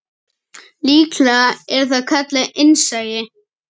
Líklega er það kallað innsæi.